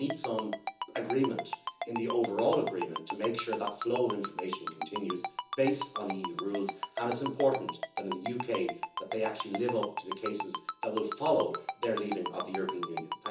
We need some agreement in the overall agreement to make sure that that flow of information continues, based on EU rules, and it is important that in the UK actually lives up to the cases that will follow their leaving of the European Union.